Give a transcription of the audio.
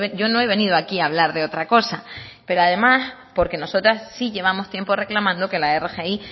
yo no he venido aquí a hablar de otra cosa pero además porque nosotras sí llevamos tiempo reclamando que la rgi